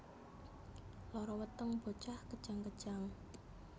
Lara weteng bocah kejang kejang